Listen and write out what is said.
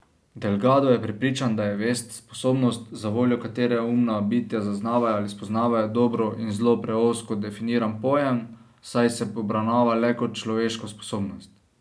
Delgado je prepričan, da je vest, sposobnost, zavoljo katere umna bitja zaznavajo ali spoznavajo dobro in zlo preozko definiran pojem, saj se obravnava le kot človeško sposobnost.